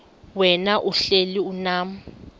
wena uhlel unam